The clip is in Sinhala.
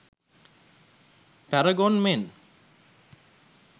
paragon men